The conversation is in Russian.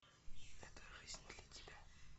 эта жизнь для тебя